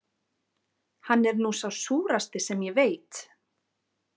Hann er nú sá súrasti sem ég veit.